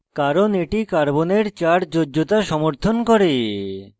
কারণ এটি carbon চার যোজ্যতা সমর্থন করে